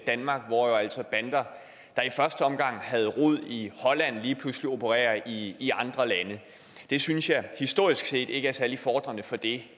danmark hvor jo altså bander der i første omgang havde rod i holland lige pludselig opererer i i andre lande det synes jeg historisk set ikke er særlig befordrende for det